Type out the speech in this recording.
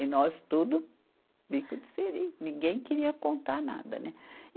E nós tudo meio que diferente, ninguém queria contar nada, né?